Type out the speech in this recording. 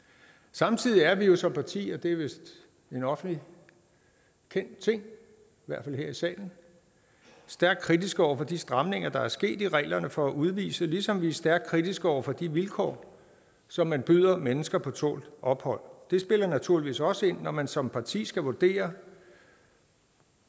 samtidig er vi jo som parti og det er vist en offentligt kendt ting i hvert fald her i salen stærkt kritiske over for de stramninger der er sket af reglerne for udvisning ligesom vi er stærkt kritiske over for de vilkår som man byder mennesker på tålt ophold det spiller naturligvis også ind når man som parti skal vurdere